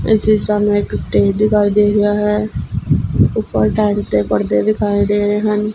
ਇਸ ਵਿਚ ਸਾਨੂੰ ਇੱਕ ਸਟੇਜ ਦੀ ਗੱਲ ਦਿਖਾਈ ਦੇ ਰਿਹਾ ਹੈ ਉੱਪਰ ਟੈਂਟ ਤੇ ਪਰਦੇ ਦਿਖਾਏ ਗਏ ਹਨ।